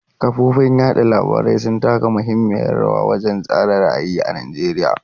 Kafofin yada labarai sun taka muhimmiyar rawa wajen tsara ra'ayi a Najeriya.